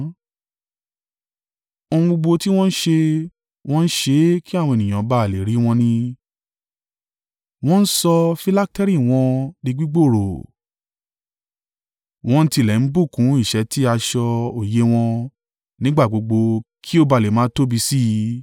“Ohun gbogbo tí wọ́n ń ṣe, wọ́n ń ṣe é kí àwọn ènìyàn ba à lè rí wọn ni. Wọ́n ń sọ filakteri wọn di gbígbòòrò. Wọ́n tilẹ̀ ń bùkún ìṣẹ́tí aṣọ oyè wọn nígbà gbogbo kí ó ba à lè máa tóbi sí i.